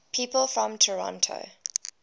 people from toronto